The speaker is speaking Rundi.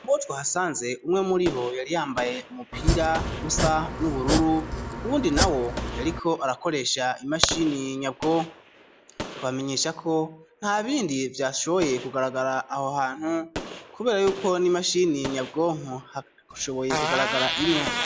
Mubo twahasanze umwe muribo yari yambaye umupira usa n'ubururu uwundi nawo yariko arakoresha imashini nyabwonko twabamenyesha ko ntabindi vyashoboye ku garagara aho hantu kubera yuko n'imashini nyabwonko hashoboye ku garagara imwe